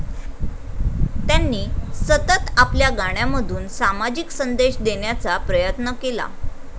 त्यांनी सतत आपल्या गाण्यामधून सामाजिक संदेश देणेचा प्रयत्न केला.